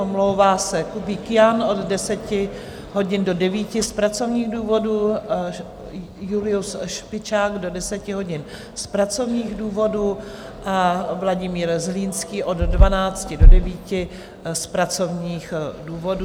Omlouvá se Kubík Jan od 10 hodin do 9 z pracovních důvodů, Julius Špičák do 10 hodin z pracovních důvodů a Vladimír Zlínský od 12 do 9 z pracovních důvodů.